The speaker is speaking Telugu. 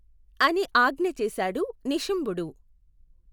అని ఆజ్ఞచేశాడు నిశుంభుడు.